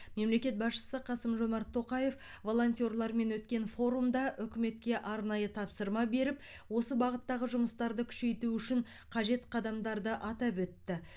мемлекет басшысы қасым жомарт тоқаев волонтерлармен өткен форумда үкіметке арнайы тапсырма беріп осы бағыттағы жұмыстарды күшейту үшін қажет қадамдарды атап өтті